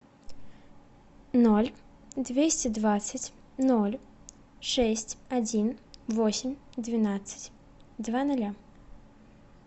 ноль двести двадцать ноль шесть один восемь двенадцать два ноля